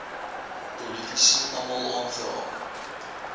politici almal aangeraak